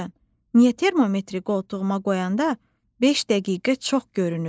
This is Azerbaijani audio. Niyə termometri qoltuğuma qoyanda beş dəqiqə çox görünür?